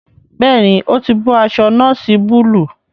Béèni o tí bó aṣọ noosi Búlúù.